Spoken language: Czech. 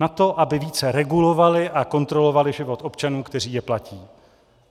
Na to, aby více regulovali a kontrolovali život občanů, kteří je platí.